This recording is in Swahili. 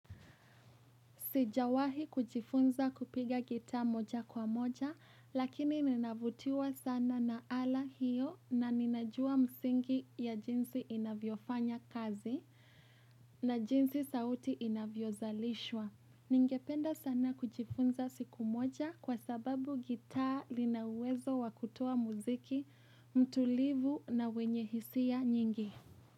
Sijawahi kujifunza kupiga gita moja kwa moja lakini ninavutiwa sana na ala hiyo na ninajua msingi ya jinsi inavyofanya kazi na jinsi sauti inavyozalishwa. Ningependa sana kujifunza siku moja kwa sababu gita linawezo wa kutoa muziki, mtulivu na wenye hisia nyingi.